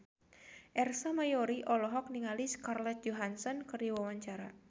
Ersa Mayori olohok ningali Scarlett Johansson keur diwawancara